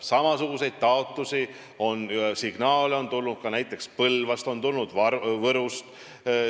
Samasuguseid taotlusi, signaale on tulnud näiteks Põlvast ja Võrust.